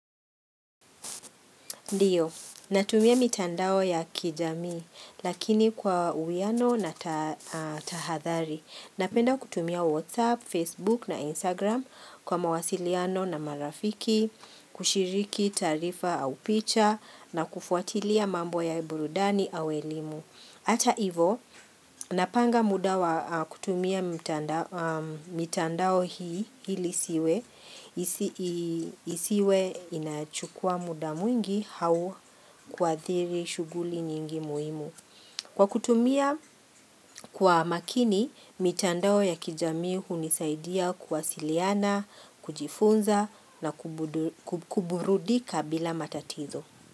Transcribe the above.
Ndiyo, natumia mitandao ya kijamii lakini kwa uwiano na tahathari. Napenda kutumia WhatsApp, Facebook na Instagram kwa mawasiliano na marafiki, kushiriki tarifa au picha na kufuatilia mambo ya iburudani au elimu. Ata ivo, napanga muda wa kutumia mitandao hii ili, isiwe inachukua muda mwingi au kuathiri shuguli nyingi muhimu. Kwa kutumia kwa makini, mitandao ya kijamii hunisaidia kuwasiliana, kujifunza na kuburudika bila matatizo.